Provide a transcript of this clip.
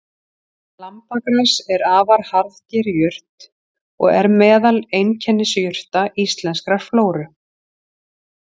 Lambagras er afar harðger jurt og er meðal einkennisjurta íslenskrar flóru.